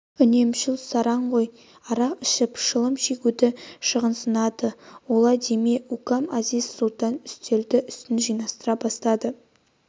үнемшіл сараң ғой арақ ішіп шылым шегуді шығынсынады олай деме укам әзиз-сұлтан үстелдің үстін жинастыра бастады